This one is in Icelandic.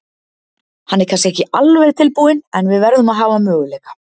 Hann er kannski ekki alveg tilbúinn en við verðum að hafa möguleika.